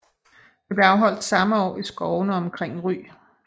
Det blev afholdt samme år i skovene omkring Ry